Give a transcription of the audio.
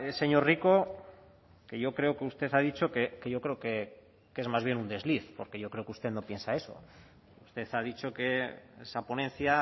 señor rico que yo creo que usted ha dicho que yo creo que es más bien un desliz porque yo creo que usted no piensa eso usted ha dicho que esa ponencia